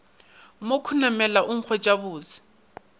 mo khunamela go nkweša bose